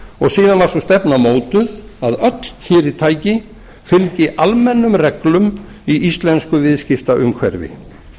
og síðan var sú stefna mótuð að öll fyrirtæki fylgi almennum reglum í íslensku viðskiptaumhverfi